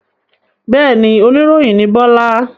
Bẹ́ẹ̀ni, oníròyìn ni Bọ́lá.